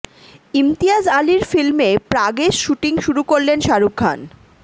ইমতিয়াজ আলির ফিল্মে প্রাগে শুটিং শুরু করলেন শাহরুখ খান